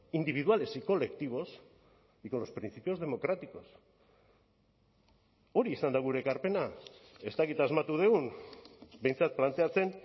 individuales y colectivos y con los principios democráticos hori izan da gure ekarpena ez dakit asmatu dugun behintzat planteatzen